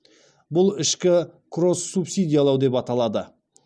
бұл ішкі кросс субсидиялау деп аталады